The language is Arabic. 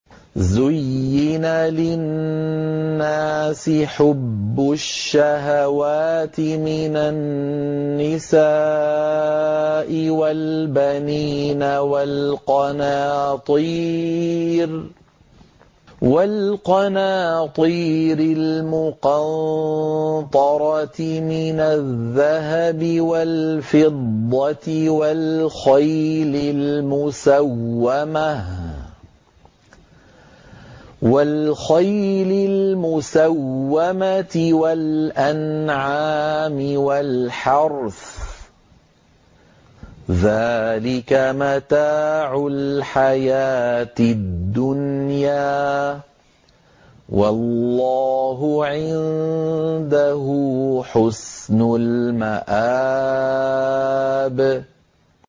زُيِّنَ لِلنَّاسِ حُبُّ الشَّهَوَاتِ مِنَ النِّسَاءِ وَالْبَنِينَ وَالْقَنَاطِيرِ الْمُقَنطَرَةِ مِنَ الذَّهَبِ وَالْفِضَّةِ وَالْخَيْلِ الْمُسَوَّمَةِ وَالْأَنْعَامِ وَالْحَرْثِ ۗ ذَٰلِكَ مَتَاعُ الْحَيَاةِ الدُّنْيَا ۖ وَاللَّهُ عِندَهُ حُسْنُ الْمَآبِ